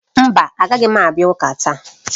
Mba, agaghị m abịa ụka taa